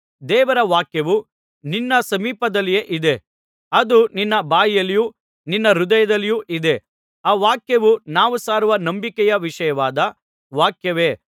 ದೇವರ ವಾಕ್ಯವು ನಿನ್ನ ಸಮೀಪದಲ್ಲಿಯೇ ಇದೆ ಅದು ನಿನ್ನ ಬಾಯಲ್ಲಿಯೂ ನಿನ್ನ ಹೃದಯದಲ್ಲಿಯೂ ಇದೆ ಆ ವಾಕ್ಯವು ನಾವು ಸಾರುವ ನಂಬಿಕೆಯ ವಿಷಯವಾದ ವಾಕ್ಯವೇ